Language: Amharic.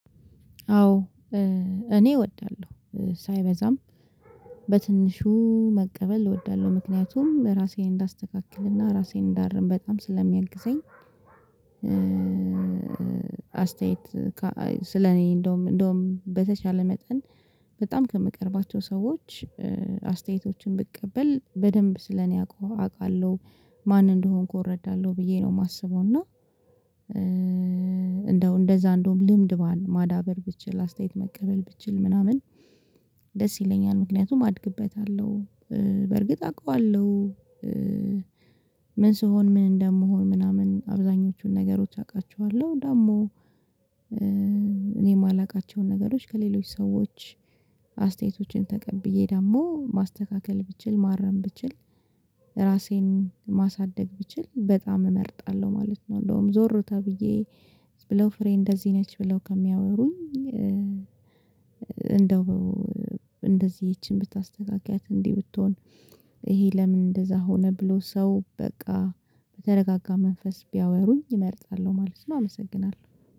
አዎ እኔ እወዳለሁ ሳይበዛም በትንሹ መቀበል እወዳለሁ ምክንያቱም ራሴን እንዳስተካክልና ራሴን እንዳርም በጣም ስለሚያግዘኝ አስተያየት ስለኔ እንደውም እንደውም በተቻለ መጠን በጣም ከምቀርባቸው ሰዎች አስተያየቶችን ብቀበል በደንብ ስለኔ አውቃለሁ ማን እንደሆንኩ እረዳለሁ ብዬ ነው የማስበው እና እንደው እንደዛ እንደውም ልምድ ማዳበር ብችል አስተያየት መቀበል ብችል ምናምን ደስ ይለኛል፤ ምክንያቱም አድግበታለሁ በርግጥ አውቀዋለሁ አውቃለሁ ምን ስሆን ምን እንደምሆን ምናምን አብዛኞቹን ነገሮች አውቃቸዋለሁ ደግሞ እኔ የማላውቃቸውን ነገሮች ከሌሎች ሰዎች አስተያየቶችን ተቀብዬ ደግሞ ማስተካከል ብችል፣ ማረም ብችል፣ ራሴን ማሳደግ ብችል በጣም እመርጣለሁ ማለት ነው እንደውም ዞር ተብዬ ብለው ፍሬ እንደዚህ ነች ብለው ከሚያወሩኝ እንደው እንደዚህ ይቺን ብታስተካኪያት እንዲህ ብትሆን ይሄ ለምን እንደዛ ሆነ ብሎ ሰው በቃ በተረጋጋ መንፈስ ቢያወሩኝ እመርጣለሁ ማለት ነው አመሰግናለሁ።